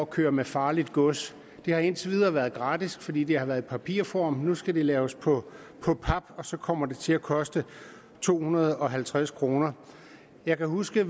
køre med farligt gods det har indtil videre været gratis fordi det har været i papirform men nu skal det laves på pap og så kommer det til at koste to hundrede og halvtreds kroner jeg kan huske at